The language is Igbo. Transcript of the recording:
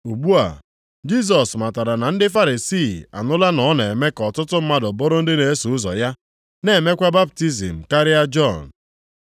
Ugbu a, Jisọs matara na ndị Farisii anụla na ọ na-eme ka ọtụtụ mmadụ bụrụ ndị na-eso ụzọ ya na-emekwa baptizim karịa Jọn.